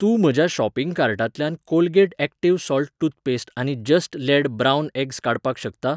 तूं म्हज्या शॉपिंग कार्टांतल्यान कोलगेट ऍक्टिव्ह सॉल्ट टूथपेस्ट आनी जस्ट लेड ब्रावन एग्स काडपाक शकता?